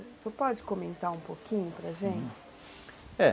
O senhor pode comentar um pouquinho para gente? Uhum, é...